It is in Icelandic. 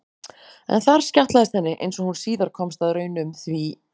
En þar skjátlaðist henni, einsog hún síðar komst að raun um, því